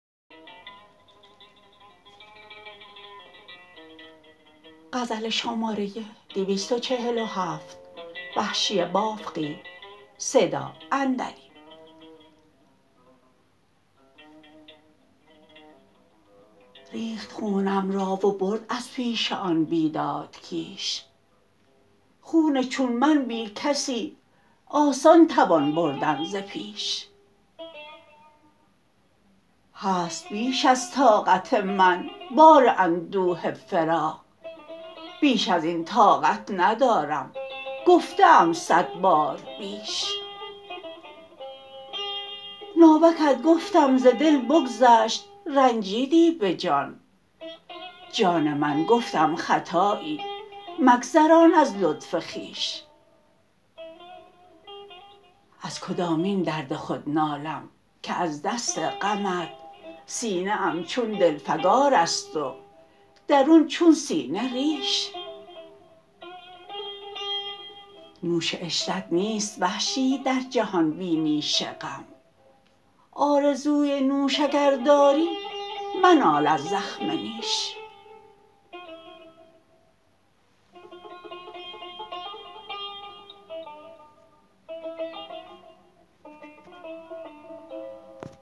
ریخت خونم را و برد از پیش آن بیداد کیش خون چون من بی کسی آسان توان بردن ز پیش هست بیش از طاقت من بار اندوه فراق بیش ازین طاقت ندارم گفته ام صد بار بیش ناوکت گفتم ز دل بگذشت رنجیدی به جان جان من گفتم خطایی مگذران از لطف خویش از کدامین درد خود نالم که از دست غمت سینه ام چون دل فکار است و درون چون سینه ریش نوش عشرت نیست وحشی در جهان بی نیش غم آرزوی نوش اگر داری منال از زخم نیش